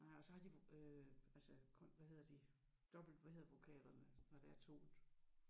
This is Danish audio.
Nej og så har de øh altså hvad hedder de dobbelt hvad hedder vokalerne når der er 2